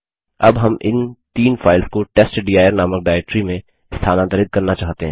अब हम इन तीन फाइल्स को टेस्टडिर नामक डाइरेक्टरी में स्थानांतरित करना चाहते हैं